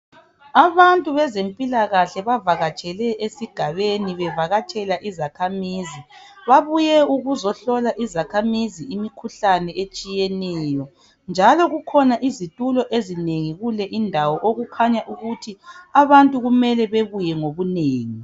Abantu bezempilakahle bavakatshele esigabeni ,bevakatshela izakhamizi. Babuye ukuzohlola izakhamizi imikhuhlane etshiyeneyo ,njalo kukhona izithulo ezinengi kule indawo okukhanya ukuthi abantu kumele bebuye ngobunengi.